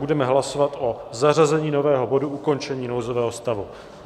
Budeme hlasovat o zařazení nového bodu Ukončení nouzového stavu.